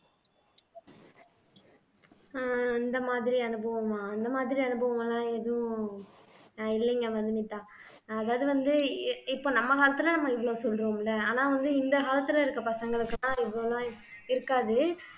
ஆஹ் அந்த மாதிரி அனுபவமா அந்த மாதிரி அனுபவம்லாம் எதுவும் ஆஹ் இல்லீங்க மதுமிதா அதாவது வந்து இ இப்ப நம்ம காலத்துல நம்ம இவ்வளவு சொல்றோம்ல ஆனா வந்து இந்த காலத்துல இருக்க பசங்களுக்கெல்லாம் இவ்வளவு நாள் இருக்காது